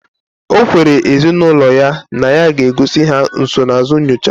Okwere ezi na ulo ya na ya ga egozi ha nsonaazụ nyocha